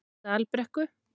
Dalbrekku